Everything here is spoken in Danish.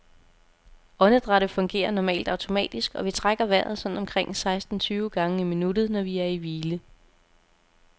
Åndedrættet fungerer normalt automatisk, og vi trækker vejret sådan omkring seksten tyve gange i minuttet, når vi er i hvile.